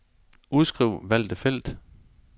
Udskriv valgte felt.